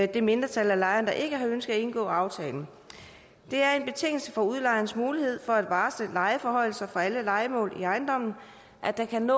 det mindretal af lejerne der ikke har ønsket at indgå aftalen det er en betingelse for udlejerens mulighed for at varsle lejeforhøjelser for alle lejemål i ejendommen at der kan